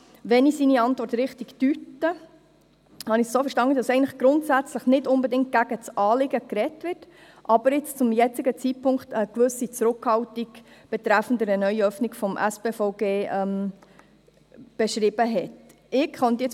Wenn ich seine Antwort richtig interpretiere, wird darin nicht unbedingt grundsätzlich gegen das Anliegen argumentiert, aber es wird eine gewisse Zurückhaltung gegenüber einer neuen Öffnung des Spitalversorgungsgesetzes (SpVG) zum jetzigen Zeitpunkt gezeigt.